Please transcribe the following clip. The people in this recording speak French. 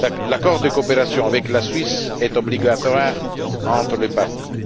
L'accord de coopération avec la Suisse est obligatoire entre les parties.